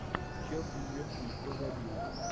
челси ливерпуль кто забил